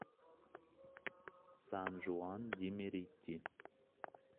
сан жуан ди мерити